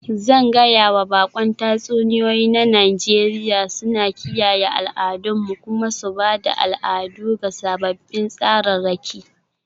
Zan gaya wa baƙon tatsuniyoyi na Nijeriya suna kiyaye al'adunmu kuma su ba da al'adu ga sababbin tsararraki.